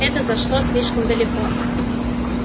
это зашло слишком далеко